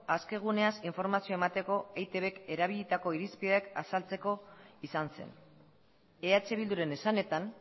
aske guneaz informazioa emateko eitbk erabilitako irizpideak azaltzeko izan zen eh bilduren esanetan